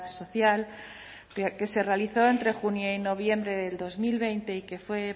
social que se realizó entre junio y noviembre del dos mil veinte y que fue